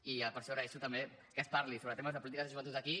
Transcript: i per això agraeixo també que es parli sobre temes de política de joventut aquí